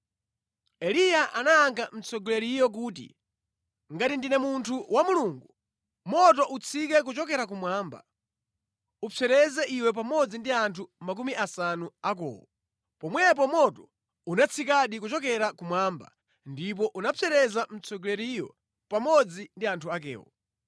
Eliya anayankha mtsogoleriyo kuti, “Ngati ndine munthu wa Mulungu, moto utsike kuchokera kumwamba, ukupsereze iwe pamodzi ndi anthu makumi asanu akowo!” Pomwepo moto unatsikadi kuchokera kumwamba ndipo unapsereza mtsogoleriyo pamodzi ndi anthu akewo.